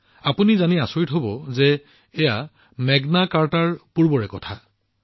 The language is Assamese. আপোনালোকে জানি আচৰিত হব যে এইটো মেগনা কাৰ্টাৰতকৈ প্ৰাচীন